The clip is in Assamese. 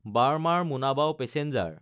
বাৰ্মাৰ–মোনাবাও পেচেঞ্জাৰ